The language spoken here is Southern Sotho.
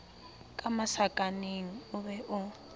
ka masakaneng o be o